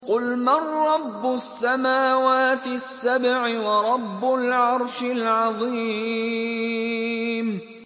قُلْ مَن رَّبُّ السَّمَاوَاتِ السَّبْعِ وَرَبُّ الْعَرْشِ الْعَظِيمِ